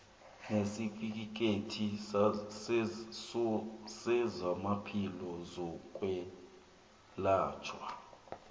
nesitifikhethi sezamaphilo sokwelatjhwa